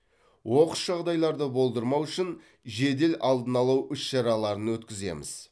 оқыс жағдайларды болдырмау үшін жедел алдын алу іс шараларын өткіземіз